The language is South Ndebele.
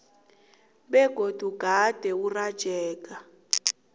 begodu gade urhatjheka